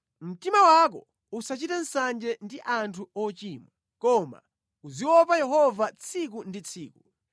Mtima wako usachite nsanje ndi anthu ochimwa, koma uziopa Yehova tsiku ndi tsiku.